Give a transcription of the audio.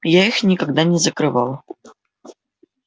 я их никогда не закрывал